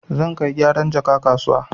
Zan kai gyaran jaka kasuwa.